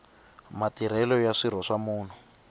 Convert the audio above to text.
matirhelo ya swirho swa munhu